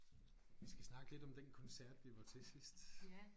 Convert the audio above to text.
Vi skal snakke lidt om den koncert vi var til sidst